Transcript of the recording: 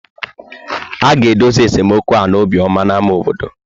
A ga-edozi esemokwu ala Obioma na ámá obodo.